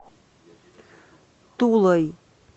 тулой